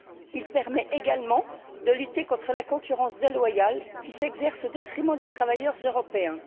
Il permet également de lutter contre la concurrence déloyale qui s'exerce au détriment des travailleurs européens.